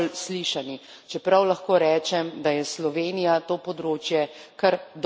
Čeprav lahko rečem, da je Slovenija to področje kar dobro uredila.